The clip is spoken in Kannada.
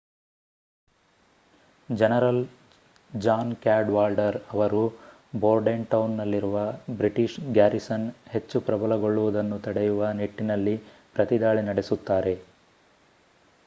ಜನರಲ್ ಜಾನ್ ಕ್ಯಾಡ್‌ವಾಲ್ಡರ್ ಅವರು ಬೋರ್ಡೆಂಟೌನ್‌ನಲ್ಲಿರುವ ಬ್ರಿಟಿಷ್ ಗ್ಯಾರಿಸನ್ ಹೆಚ್ಚು ಪ್ರಬಲಗೊಳ್ಳುವುದನ್ನು ತಡೆಯುವ ನಿಟ್ಟಿನಲ್ಲಿ ಪ್ರತಿದಾಳಿ ನಡೆಸುತ್ತಾರೆ